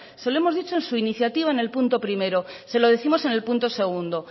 se lo hemos dicho en su iniciativa en el punto primero se lo décimos en el punto segundo